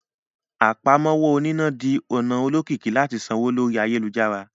Àpámọ́wọ́ oníná di ọ̀nà olókìkí láti sanwó lórí ayélujára